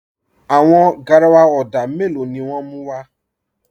Àwọn gáràwà odà mẹ́lọ̀ ni wọn mú wa?